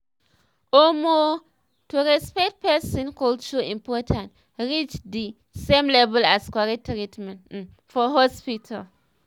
omo to respect person culture important reach di same level as correct treatment um for hospital.